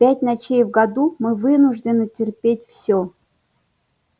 пять ночей в году мы вынуждены терпеть все